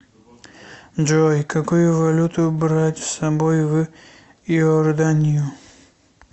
джой какую валюту брать с собой в иорданию